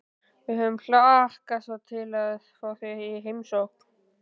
Við höfum hlakkað svo til að fá þig í heimsókn